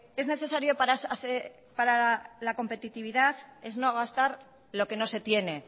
es necesario para la competitividad es no gastar lo que no se tiene